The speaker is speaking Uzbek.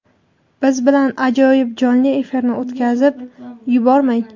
Biz bilan ajoyib jonli efirni o‘tkazib yubormang.